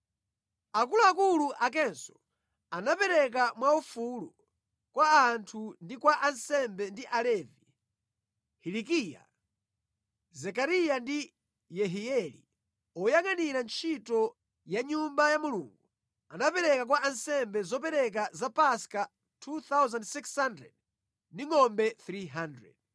Akuluakulu akenso anapereka mwaufulu kwa anthu ndi kwa ansembe ndi Alevi. Hilikiya, Zekariya ndi Yehieli oyangʼanira ntchito ya mʼNyumba ya Mulungu anapereka kwa ansembe zopereka za Paska 2,600 ndi ngʼombe 300.